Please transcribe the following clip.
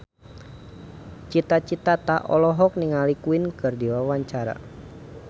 Cita Citata olohok ningali Queen keur diwawancara